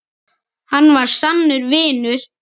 Hann var sannur vinur.